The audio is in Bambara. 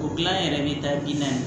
O gilan yɛrɛ bi taa bina ye